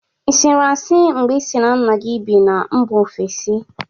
Ị sịrị asị mgbe ị sị na nna gi bi na mba ofesi?